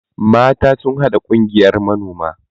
mata sun haɗa Kungiyar manoma